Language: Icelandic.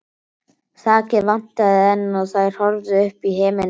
Þakið vantaði enn og þær horfðu upp í himininn.